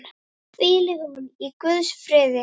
Hvíli hún í Guðs friði.